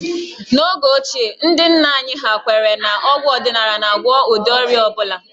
N'oge ochie, ndị nna anyị ha kwere na ọgwụ ọdịnala na-agwọ ụdị ọrịa ọ bụla